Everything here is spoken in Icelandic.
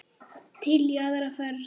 Til í aðra ferð.